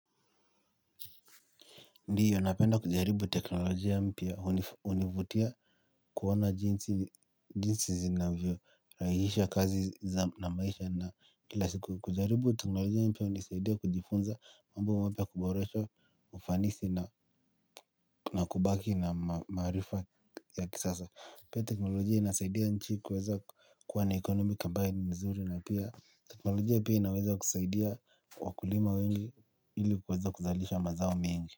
Ndiyo napenda kujaribu teknolojia mpya hunivutia kuona jinsi zinavyorahisisha kazi na maisha na kila siku. Kujaribu teknolojia mpya hunisaidia kujifunza mambo mapya kuboresha ufanisi na kubaki na maarifa ya kisasa. Pia teknolojia inasaidia nchi kuweza kuwa na economic ambaye ni nzuri na pia teknolojia pia inaweza kusaidia wakulima wengi ili kuweza kuzalisha mazao mengi.